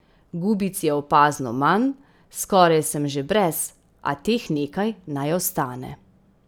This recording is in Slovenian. Gubic je opazno manj, skoraj sem že brez, a teh nekaj naj ostane.